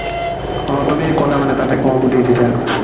অ তুমি ক'লা মানে তাতে কৰো বুলি তেতিয়া